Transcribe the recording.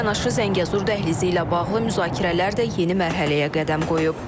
Bununla yanaşı Zəngəzur dəhlizi ilə bağlı müzakirələr də yeni mərhələyə qədəm qoyub.